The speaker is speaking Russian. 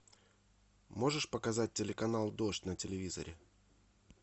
можешь показать телеканал дождь на телевизоре